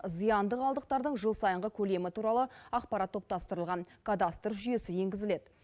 зиянды қалдықтардың жыл сайынғы көлемі туралы ақпарат топтастырылған кадастр жүйесі енгізіледі